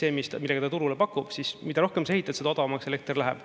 Ehk siis see, millega ta turule pakub, siis mida rohkem sa ehitad, seda odavamaks elekter läheb.